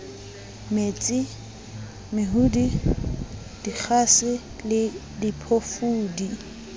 mesi mehudi dikgase le diphofudi